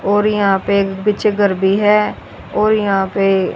और यहां पे एक पीछे घर भी है और यहां पे--